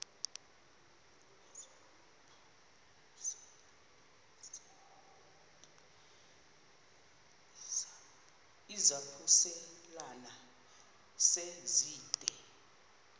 izaphuselana se zide